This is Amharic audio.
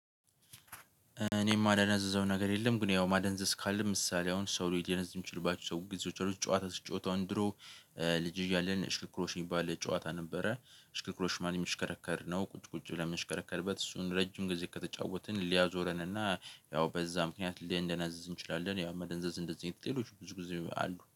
እኔም ማደነዝዘው ነገር የለም። ግን ያው ማደንዘዝ ካለም ምሳሌ አሁን ሰው ሊደነዝዝ የሚችልባችሁ ሰው ጊዜዎች አሉት። ጨዋታ ሲጫወቱን አሁን ድሮ ልጅ እያለን እሽክርክሮሽ የሚባል ጨዋታ ነበረ። እሽክርክሮሽ ማን የምሽከረከር ነው? ቁጭ ቁጭ ብለን የምሽከረከርበት እሱን ረጅም ጊዜ ከተጫወትን ሊያዞረን እና ያው በዛ ምክንያት ልንደነዝዝ እንችላለን። ያው መደንዘዝ እንደዚህ አይነት ሌሎች ብዙ ጊዜ አሉ